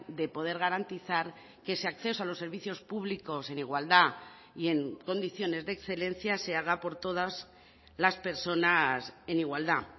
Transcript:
de poder garantizar que ese acceso a los servicios públicos en igualdad y en condiciones de excelencia se haga por todas las personas en igualdad